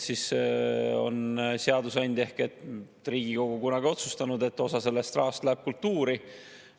Seadusandja ehk Riigikogu on kunagi otsustanud, et osa sellest rahast läheb kultuuri.